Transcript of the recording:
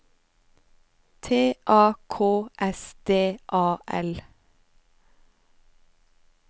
T A K S D A L